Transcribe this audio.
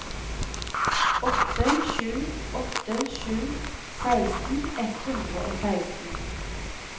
åtte sju åtte sju seksten ett hundre og seksten